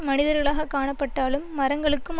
மனிதர்களாகக் காணப்பட்டாலும் மரங்களுக்கும்